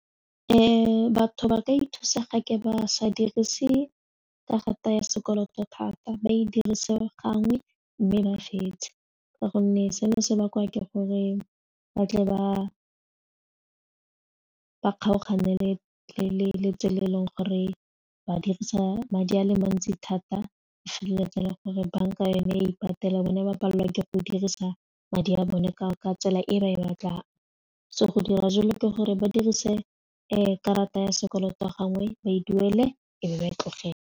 Batho ba ka ithusa ga ke ba sa dirise ka rata ya sekoloto thata ba e dirisiwe gangwe mme ba fetse ka gonne seno se bakwa ke gore ba tle ba kgaogane le tsela e leng gore ba dirisa madi a le mantsi thata ba feleletsa le gore banka yone ya ipatela bone ba palelwa ke go dirisa madi a bone ka tsela e ba e batlang so go dira jalo ke gore ba dirise karata ya sekoloto a gangwe ba e duele e be ba e tlogela.